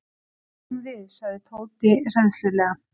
Snúum við sagði Tóti hræðslulega.